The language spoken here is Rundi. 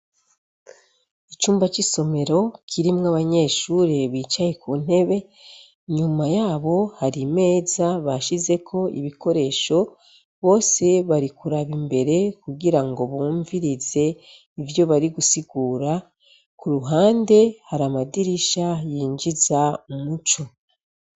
Icumba c'isomero kirimwo abanyeshure bicaye ku ntebe. Inyuma yabo hari imeza bashizeko ibikoresho. Bose bari kuraba imbere kugira ngo bumvirize ivyo bari gusigura. Ku ruhande hari amadirisha yinjiza umuco.